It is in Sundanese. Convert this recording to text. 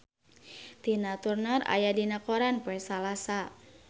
Tina Turner aya dina koran poe Salasa